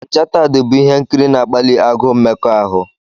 Onchatad' bụ ihe nkiri na-akpali agụụ mmekọahụ.